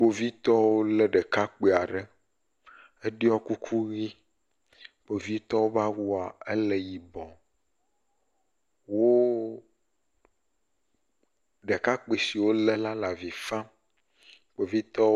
Kpovitɔwo lé ŋutsu aɖe yi le awu dzĩ me eye wòɖɔ kuku la. Ŋutsu la le avi fam, eke nume baa, kpovitɔwo dometɔ ɖewo ɖɔ ŋɔtsinu kuku.